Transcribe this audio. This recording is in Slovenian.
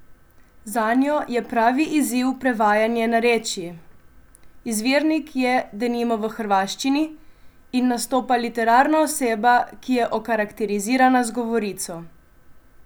Zanjo je pravi izziv prevajanje narečij: "Izvirnik je denimo v hrvaščini in nastopa literarna oseba, ki je okarakterizirana z govorico.